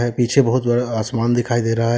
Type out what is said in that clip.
पीछे बहुत बड़ा आसमान दिखाई दे रहा है।